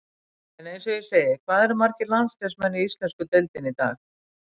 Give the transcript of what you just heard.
En eins og ég segi, hvað eru margir landsliðsmenn í íslensku deildinni í dag?